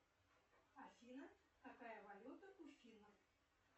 афина какая валюта у финов